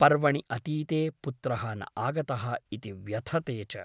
पर्वणि अतीते पुत्रः न आगतः इति व्यथते च ।